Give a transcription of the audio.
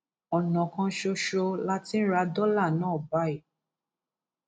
ọnà kan ṣoṣo la ti ń ra dọlà náà báyìí